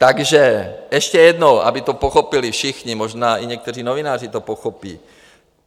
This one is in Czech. Takže ještě jednou, aby to pochopili všichni, možná i někteří novináři to pochopí.